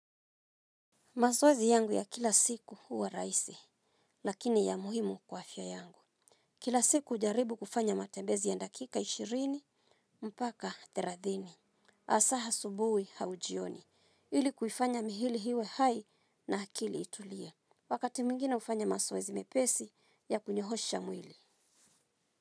Mazoezi yangu ya kila siku huwa rahisi, lakini ya muhimu kwa afya yangu. Kila siku hujaribu kufanya matembezi ya ndakika ishirini, mpaka thelathini. Hasa asubuhi au jioni, ili kufanya mwili iwe hai na akili itulie. Wakati mwingine hufanya mazoezi mepesi ya kunyoosha mwili.